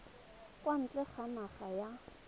kwa ntle ga naga ba